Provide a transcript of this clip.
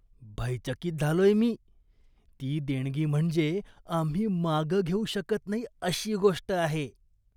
भयचकित झालोय मी! ती देणगी म्हणजे आम्ही मागं घेऊ शकत नाही अशी गोष्ट आहे.